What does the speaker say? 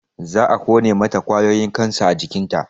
Za a ƙone mata ƙwayoyin kansa a jikinta